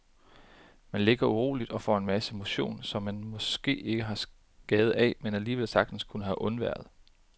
Man ligger uroligt og får en masse motion, som man måske ikke har skade af, men alligevel sagtens kunne have undværet.